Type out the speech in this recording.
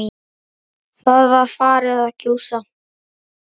Það var farið að gjósa.